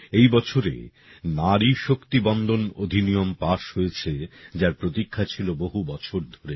এই বছরে নারী শক্তি বন্দন অধিনিয়ম পাশ হয়েছে যার প্রতীক্ষা ছিল বহু বছর ধরে